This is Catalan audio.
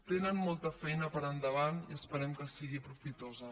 tenen molta feina per endavant i esperem que sigui profitosa